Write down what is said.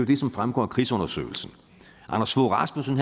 det som fremgår af krigsundersøgelsen anders fogh rasmussen